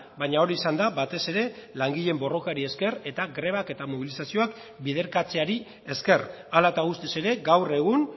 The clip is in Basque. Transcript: baina hori izan da batez ere langileen borrokari esker eta grebak eta mobilizazioak biderkatzeari esker hala eta guztiz ere gaur egun